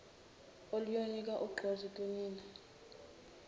oluyonika ugqozi kinina